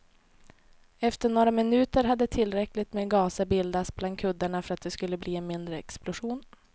Efter några minuter hade tillräckligt med gaser bildats bland kuddarna för att det skulle bli en mindre explosion.